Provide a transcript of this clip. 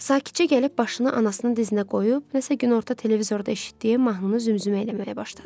Sakitcə gəlib başını anasının dizinə qoyub, nəsə günorta televizorda eşitdiyi mahnını zümzümə eləməyə başladı.